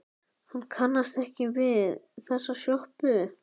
Hann kannast ekki við þessa sjoppu.